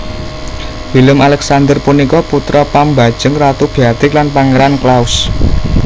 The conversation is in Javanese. Willem Alexander punika putra pambajeng Ratu Beatrix lan Pangeran Claus